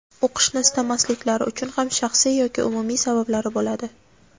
O‘qishni istamasliklari uchun ham shaxsiy yoki umumiy sabablari bo‘ladi.